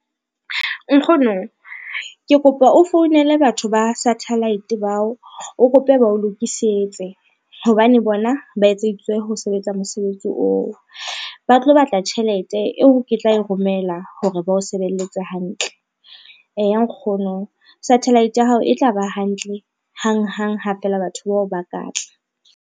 Nkgono ke kopa o founele batho ba satellite bao o kope ba o lokisetse, hobane bona ba etseditswe ho sebetsa mosebetsi oo, ba tlo batla tjhelete eo ke tla e romela hore ba o sebelletse hantle. Eya nkgono satellite ya hao e tla ba hantle hanghang ha feela batho bao ba ka tla.